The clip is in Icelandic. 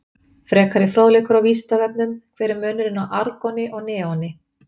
Frekari fróðleikur á Vísindavefnum: Hver er munurinn á argoni og neoni?